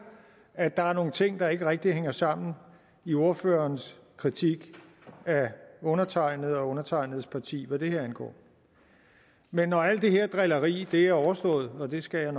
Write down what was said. at der er nogle ting der ikke rigtig hænger sammen i ordførerens kritik af undertegnede og undertegnedes parti hvad det her angår men når alt det her drilleri er overstået og det skal jeg